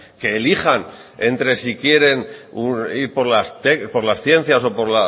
que elijan entre si quieren ir por las ciencias o por